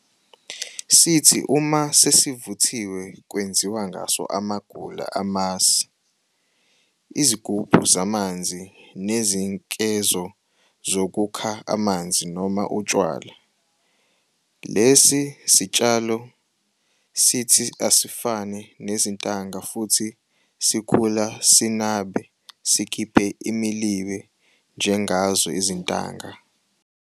Sithi uma sesivuthiwe kwenziwe ngaso amagula amasi, izigubhu zamanzi nezinkezo zokukha amanzi noma utshwala. Lesi sitshalo sithi asifane nezintanga futhi sikhula sinabe sikhiphe imilibe njengazo izintanga.